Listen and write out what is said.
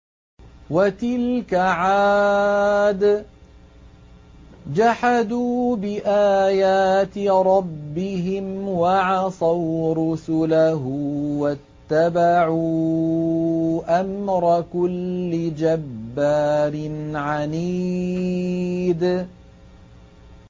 وَتِلْكَ عَادٌ ۖ جَحَدُوا بِآيَاتِ رَبِّهِمْ وَعَصَوْا رُسُلَهُ وَاتَّبَعُوا أَمْرَ كُلِّ جَبَّارٍ عَنِيدٍ